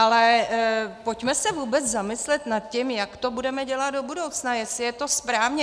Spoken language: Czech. Ale pojďme se vůbec zamyslet nad tím, jak to budeme dělat do budoucna, jestli je to správně.